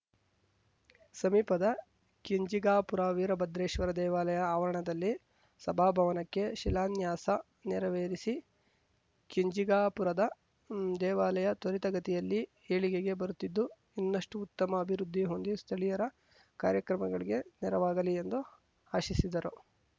ಸಮೀಪದ ಕೆಂಜಿಗಾಪುರ ವೀರಭದ್ರೇಶ್ವರ ದೇವಾಲಯ ಆವರಣದಲ್ಲಿ ಸಭಾಭವನಕ್ಕೆ ಶಿಲಾನ್ಯಾಸ ನೆರವೇರಿಸಿ ಕೆಂಜಿಗಾಪುರದ ದೇವಾಲಯ ತ್ವರಿತಗತಿಯಲ್ಲಿ ಏಳಿಗೆಗೆ ಬರುತ್ತಿದ್ದು ಇನ್ನಷ್ಟುಉತ್ತಮ ಅಭಿವೃದ್ಧಿ ಹೊಂದಿ ಸ್ಥಳೀಯರ ಕಾರ್ಯಕ್ರಮಗಳಿಗೆ ನೆರವಾಗಲಿ ಎಂದು ಆಶಿಸಿದರು